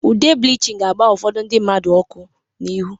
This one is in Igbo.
Ụde Blichịn ga-agba ụfodu ndi mmadu ọkụ n'ịhu.